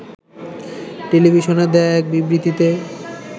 টেলিভিশনে দেয়া এক বিবৃতিতে